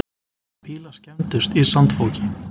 Bílar skemmdust í sandfoki